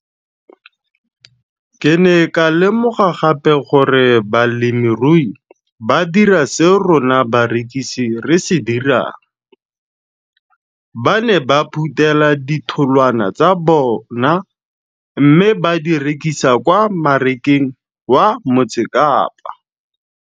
Ke ne ka lemoga gape gore balemirui ba dira seo rona barekisi re se dirang - ba ne ba phuthela ditholwana tsa bona mme ba di rekisa kwa marakeng wa Motsekapa.